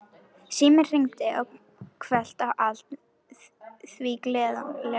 Síminn hringdi hvellt og allt því glaðlega.